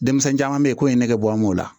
Denmisɛnnin caman bɛ ye ko ye negebɔ n b'o la